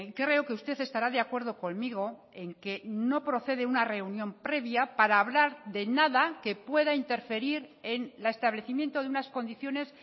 creo que usted estará de acuerdo conmigo en que no procede una reunión previa para hablar de nada que pueda interferir en el establecimiento de unas condiciones